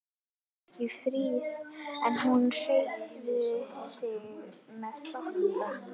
Hún var ekki fríð en hún hreyfði sig með þokka.